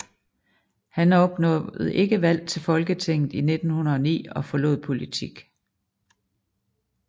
Han opnåede ikke valg til Folketinget i 1909 og forlod politik